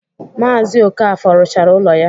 Maazi Okafor rụchara ụlọ ya.